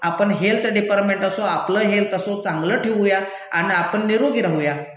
आपण health department असो, आपलं हेल्थ असो चांगलं ठेवूया अन् आपण निरोगी राहूया.